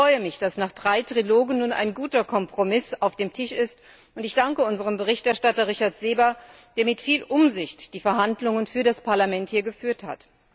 Ich freue mich, dass nach drei Trilogen nun ein guter Kompromiss auf dem Tisch ist, und ich danke unserem Berichterstatter, Richard Seeber, der mit viel Umsicht die Verhandlungen für das Parlament geführt hat.